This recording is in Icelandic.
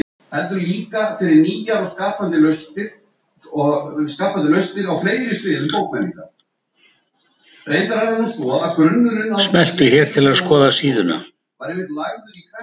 Smelltu hér til að skoða síðuna